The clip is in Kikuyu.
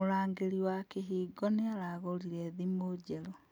Mũrangĩri wa kĩhingo nĩaragũrire thimũ njerũ